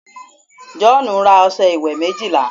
joonu ra ọsẹ iwe méjìlá